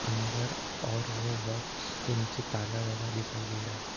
अंदर और वो बॉक्स के नीचे ताला लगा दिखाई दे रहा है।